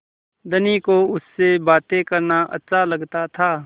धनी को उससे बातें करना अच्छा लगता था